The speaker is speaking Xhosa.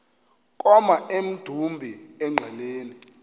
koma emdumbi engqeleni